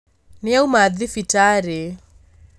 Nĩauma thibitarĩ